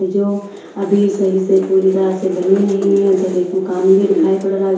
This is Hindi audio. जो अभी सही से पूरी तरह से बनी नहीं है उधर एक मकान भी दिखाई पड़ रहा है।